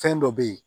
Fɛn dɔ be ye